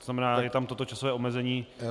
To znamená, je tam toto časové omezení.